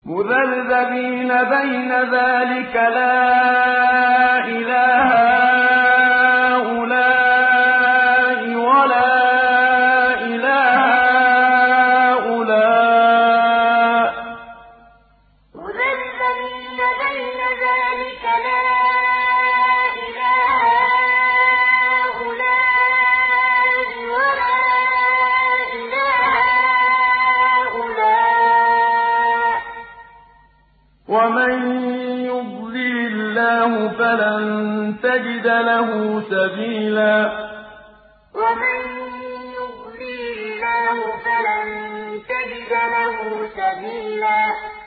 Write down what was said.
مُّذَبْذَبِينَ بَيْنَ ذَٰلِكَ لَا إِلَىٰ هَٰؤُلَاءِ وَلَا إِلَىٰ هَٰؤُلَاءِ ۚ وَمَن يُضْلِلِ اللَّهُ فَلَن تَجِدَ لَهُ سَبِيلًا مُّذَبْذَبِينَ بَيْنَ ذَٰلِكَ لَا إِلَىٰ هَٰؤُلَاءِ وَلَا إِلَىٰ هَٰؤُلَاءِ ۚ وَمَن يُضْلِلِ اللَّهُ فَلَن تَجِدَ لَهُ سَبِيلًا